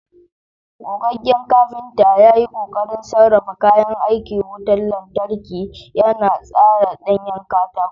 Gogaggen kafinta ya yi ƙoƙarin sarrafa kayan aikin wutar lantarki, yana tsara ɗanyen katako.